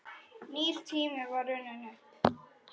Nýr tími var runninn upp.